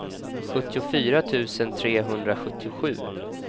sjuttiofyra tusen trehundrasjuttiosju